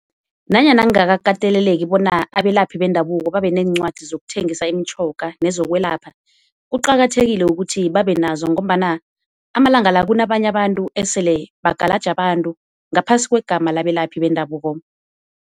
Nanyana kungakakateleleki bona abelaphi bendabuko babeneencwadi zokuthengisa imitjhoga nezokwelapha, kuqakathekile ukuthi babe nazo ngombana amalanga la kunabanye abantu esele bagalaja abantu ngaphasi kwegama labelaphi bendabuko.